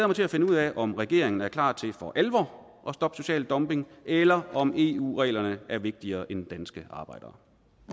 mig til at finde ud af om regeringen er klar til for alvor at stoppe social dumping eller om eu reglerne er vigtigere end danske arbejdere